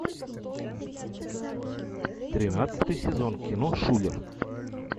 тринадцатый сезон кино шулер